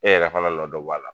E yɛrɛ fana nɔ dɔ b'a la.